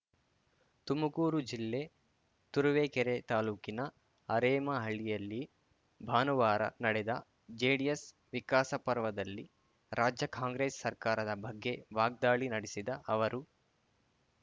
ತುಮಕೂರು ಜಿಲ್ಲೆ ತುರುವೇಕೆರೆ ತಾಲೂಕಿನ ಅರೇಮಹಳ್ಳಿಯಲ್ಲಿ ಭಾನುವಾರ ನಡೆದ ಜೆಡಿಎಸ್‌ ವಿಕಾಸಪರ್ವದಲ್ಲಿ ರಾಜ್ಯ ಕಾಂಗ್ರೆಸ್‌ ಸರ್ಕಾರದ ಬಗ್ಗೆ ವಾಗ್ದಾಳಿ ನಡೆಸಿದ ಅವರು